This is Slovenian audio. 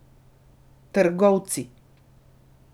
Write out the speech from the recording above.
Trgovci.